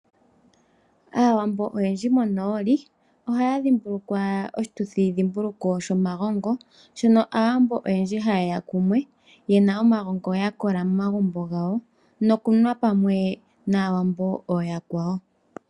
Aawambo oyendji monooli oha ya dhimbulukwa oshituthi dhimbuluko shomagongo , shono aawambo oyendji ha ye ya kumwe ye na omagongo ya kola momagumbo gawo nokunwa pamwe na Aawambo ooyakwawo.